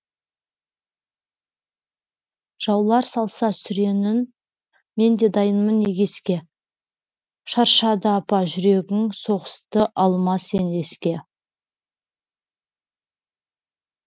жаулар салса сүренін мен дайынмын егеске шаршады апа жүрегің соғысты алма сен еске